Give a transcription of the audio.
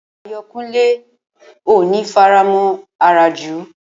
Ayọ̀kúnlé ò ní faramọ̀ àràjù